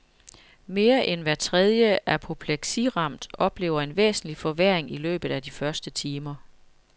Mere end hver tredje apopleksiramt oplever en væsentlig forværring i løbet af de første timer.